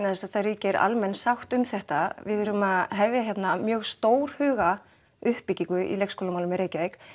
þess að það ríkir almenn sátt um þetta við erum að hefja hérna mjög stórhuga uppbyggingu í uppbyggingu leikskólamálum í Reykjavík